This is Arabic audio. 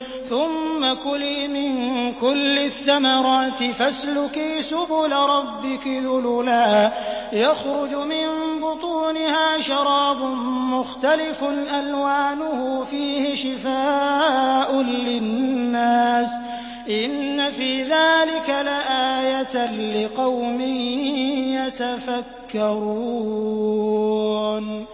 ثُمَّ كُلِي مِن كُلِّ الثَّمَرَاتِ فَاسْلُكِي سُبُلَ رَبِّكِ ذُلُلًا ۚ يَخْرُجُ مِن بُطُونِهَا شَرَابٌ مُّخْتَلِفٌ أَلْوَانُهُ فِيهِ شِفَاءٌ لِّلنَّاسِ ۗ إِنَّ فِي ذَٰلِكَ لَآيَةً لِّقَوْمٍ يَتَفَكَّرُونَ